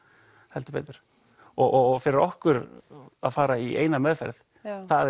heldur betur og fyrir okkur að fara í eina meðferð það